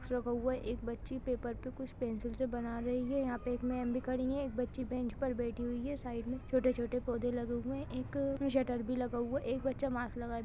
कुछ रखा हुआ है एक बच्ची पेपर पे कुछ पेंसिल से बना रही है यहाँ पे एक मेम भी खड़ी है एक बच्ची बेंच पर बैठी हुई है साइड में छोटे-छोटे पौधे लगे हुए है एक शटर भी लगा हुआ है एक बच्चा मास्क लगाए --